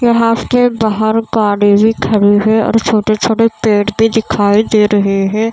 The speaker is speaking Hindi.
के बाहर गाड़ी भी खड़ी है और छोटे-छोटे पेड़ भी दिखाई दे रहे है।